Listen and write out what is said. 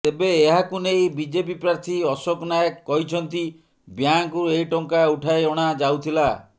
ତେବେ ଏହାକୁ ନେଇ ବିଜେପି ପ୍ରାର୍ଥୀ ଅଶୋକ ନାୟକ କହିଛନ୍ତି ବ୍ୟାଙ୍କରୁ ଏହି ଟଙ୍କା ଉଠାଇ ଅଣା ଯାଉଥିଲା